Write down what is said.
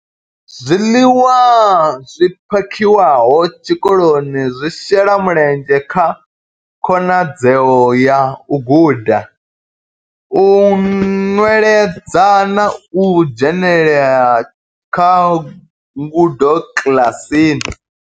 Zwiḽiwa zwi phakhiwaho tshikoloni zwi shela mulenzhe kha khonadzeo ya u guda, u nweledza na u dzhenelela kha ngudo kiḽasini.